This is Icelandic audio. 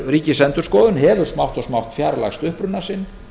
ríkisendurskoðun hefur smátt og smátt fjarlægst uppruna sinn